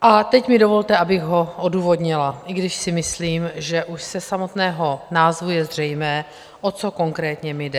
A teď mi dovolte, abych ho odůvodnila, i když si myslím, že už ze samotného názvu je zřejmé, o co konkrétně mi jde.